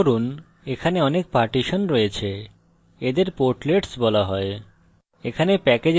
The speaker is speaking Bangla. লক্ষ্য করুন এখানে অনেক পার্টিশন রয়েছে এদের portlets বলা হয়